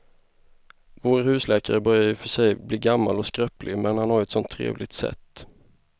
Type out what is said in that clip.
Vår husläkare börjar i och för sig bli gammal och skröplig, men han har ju ett sådant trevligt sätt!